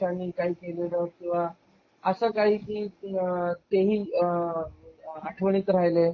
काही केलेलं किंवा असा काही ते ते ही आठवणीत राहिले